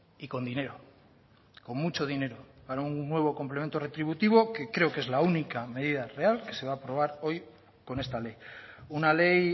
y con dinero con mucho dinero para un nuevo complemento retributivo que creo que es la única medida real que se va a aprobar hoy con esta ley una ley